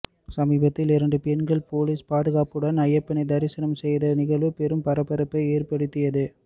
சமீபத்தில் இரண்டு பெண்கள் போலீஸ் பாதுகாப்புடன் ஐயப்பனை தரிசனம் செய்த நிகழ்வு பெரும் பரபரப்பை ஏற்படுத்தியது